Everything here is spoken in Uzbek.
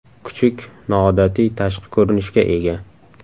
Kuchuk noodatiy tashqi ko‘rinishga ega.